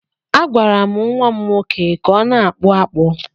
Agwara m nwa m nwoke ka ọ na-akpụ akpụ.